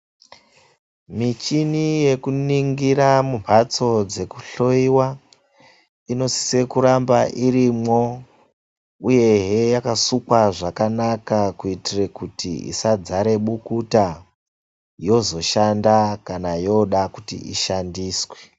Michini yekuningira mumbatso dzekuhloiwa inosisa kuramba irimwo, uyehe yakasukwa zvakanaka kuitire kut isadzare bukuta, yozoshanda kana yoda kuti ishandiswe.